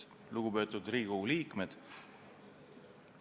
Lugupeetud Riigikogu liikmed!